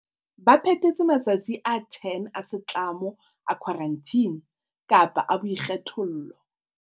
Ba phethetse matsatsi a 10 a setlamo a khwarantine kapa a boikgethollo.